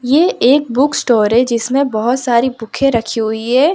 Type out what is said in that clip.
ये एक book store जिसमें बहोत सारी बुके रखी हुई है।